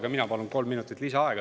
Ka mina palun kolm minutit lisaaega.